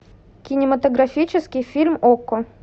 кинематографический фильм окко